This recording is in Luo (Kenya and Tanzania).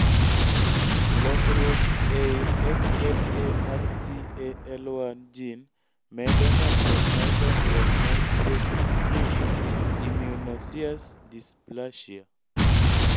lokruok eyi SMARCAL1 gene medo nyalruok mar dongruok mar tuwo schimike immunoosseous dysplasia